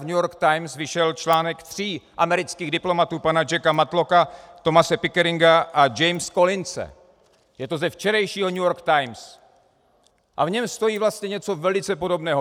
V New York Times vyšel článek tři amerických diplomatů, pana Jacka Matlocka, Thomase Pickeringa a Jamese Collinse, je to ze včerejšího New York Times, a v něm stojí vlastně něco velice podobného.